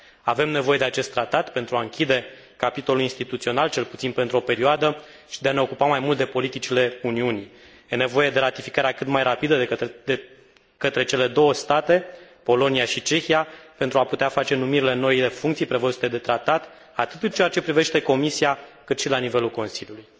Avem nevoie de acest tratat pentru a închide capitolul instituțional, cel puțin pentru o perioadă, și pentru a ne ocupa mai mult de politicile Uniunii. E nevoie de ratificarea cât mai rapidă de către cele două state, Polonia și Cehia, pentru a putea face numirile în noile funcții prevăzute de tratat, atât în ceea ce privește Comisia cât și la nivelul Consiliului.